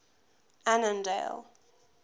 annandale